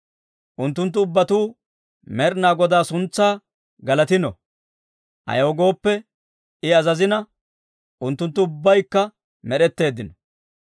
Unttunttu ubbatuu Med'inaa Godaa suntsaa galatino; ayaw gooppe, I azazina, Unttunttu ubbaykka med'etteeddino.